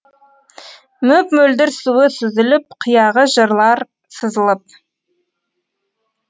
мөп мөлдір суы сүзіліп қияғы жырлар сызылып